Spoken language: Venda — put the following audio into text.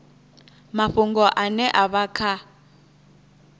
mafhungo ane a vha kha